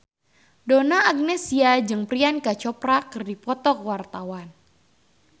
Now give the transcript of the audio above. Donna Agnesia jeung Priyanka Chopra keur dipoto ku wartawan